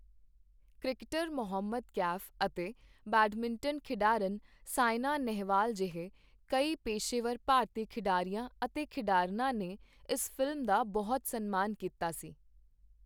Cricketer Mohammad Kaif ਅਤੇ badminton ਖਿਡਾਰਨ ਸਾਇਨਾ ਨੇਹਵਾਲ ਜਿਹੇ ਕਈ ਪੇਸ਼ੇਵਰ ਭਾਰਤੀ ਖਿਡਾਰੀਆਂ ਅਤੇ ਖਿਡਾਰਨਾਂ ਨੇ ਇਸ ਫ਼ਿਲਮ ਦਾ ਬਹੁਤ ਸਨਮਾਨ ਕੀਤਾ ਸੀ।